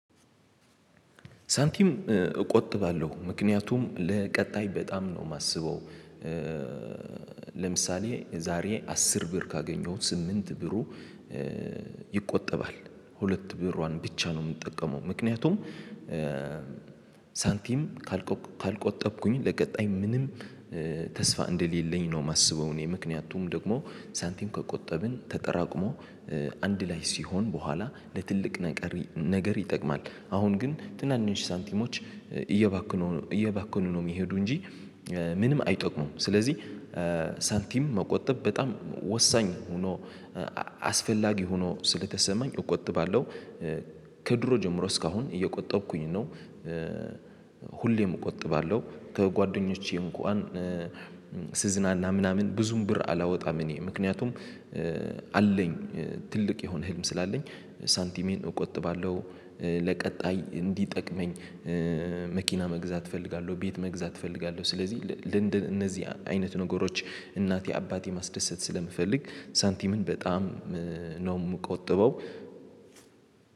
ሳንቲም እቆጥባለሁ ምክንያቱም ለቀጣይ በጣም ነው የማስበው። ለምሳሌ ዛሬ አስር ብር ካገኘሁት ስምንት ብሩ ይቆጠባል ሁለት ብሯን ብቻ ነው የምንጠቀመው። ምክንያቱም ሳንቲም ካልቆጠብኩኝ ለቀጣይ ምንም ተስፋ እንደሌለኝ ነው ማስበው። እኔ ምክንያቱም ደግሞ ሳንቲም ከቆጠብን ተጠራቅሞ አንድ ላይ ሲሆን በኋላ ለትልቅ ነገር ይጠቅማል። አሁን ግን ትናንሽ ሳንቲሞች እየባከኑ ነው እየባከኑ ነው የሚሄዱ እንጂ ምንም አይጠቅሙም። ስለዚህ ሳንቲም መቆጠብ በጣም ወሳኝ ሆኖ አስፈላጊ ሆኖ ስለተሰማኝ እቆጥባለሁ። ከድሮ ጀምሮ እስካሁን እየቆጠብኩኝ ነው። ሁሌም እቆጥባለሁ ከጓደኞቼ እንኳን ስዝናና ምናምን ብዙም ብር አላወጣም። እኔ ምክንያቱም አለኝ ትልቅ የሆነ ህልም ስላለኝ ሳንቲሜን እቆጥባለሁ ለቀጣይ እንዲጠቅመኝ። መኪና መግዛት እፈልጋለሁ ቤት መግዛት እፈልጋለሁ። ስለዚህ ለእንደነዚህ አይነት ነገሮች እናቴ አባቴ ማስደሰት ስለምፈልግ ሳንቲምን በጣም ነው ምቆጥበው።